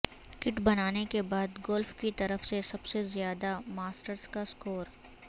کٹ بنانے کے بعد گولف کی طرف سے سب سے زیادہ ماسٹرز کا اسکور